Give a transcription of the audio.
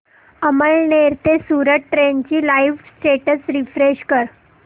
अमळनेर ते सूरत ट्रेन चे live status refresh कर